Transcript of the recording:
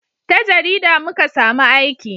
ta jarida muka samu aiki